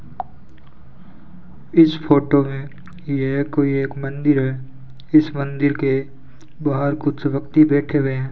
इस फोटो में ये कोई एक मंदिर है इस मंदिर के बाहर कुछ व्यक्ति बैठे हुए हैं।